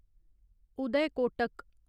Uday Kotak